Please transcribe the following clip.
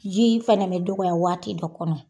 Ji fana bɛ dɔgɔya waati dɔ kɔnɔ.